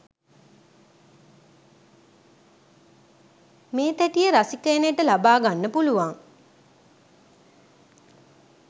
මේ තැටිය රසිකයනට ලබාගන්න පුළුවන්